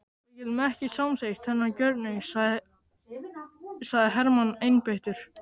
Við getum ekki samþykkt þennan gjörning sagði Hermann einbeittur.